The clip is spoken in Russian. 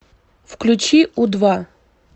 включи у два